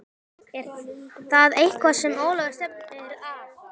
Er það eitthvað sem Ólafur stefnir að?